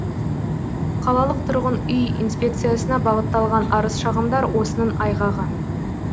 қалалық тұрғын үй инспекциясына бағытталған арыз шағымдар осының айғағы